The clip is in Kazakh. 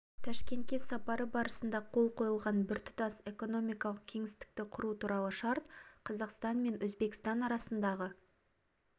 ташкентке сапары барысында қол қойылған біртұтас экономикалық кеңістікті құру туралы шарт қазақстан мен өзбекстан арасындағы